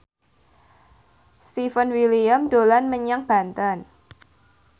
Stefan William dolan menyang Banten